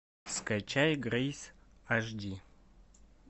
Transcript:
скачай грейс аш ди